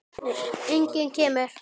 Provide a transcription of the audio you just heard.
Enginn kemur.